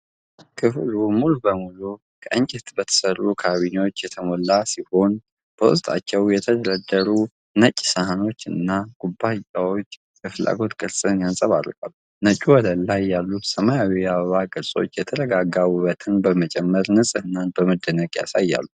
ክፍሉ ሙሉ በሙሉ ከእንጨት በተሠሩ ካቢኔቶች የተሞላ ሲሆን፣ በውስጣቸውም የተደረደሩ ነጭ ሳህኖችና ኩባያዎች የፍላጎት ፍቅርን ያንፀባርቃሉ። ነጭው ወለል ላይ ያሉት ሰማያዊ የአበባ ቅርጾች የተረጋጋ ውበትን በመጨመር ንጽህናን በመደነቅ ያሳያሉ።